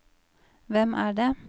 hvem er det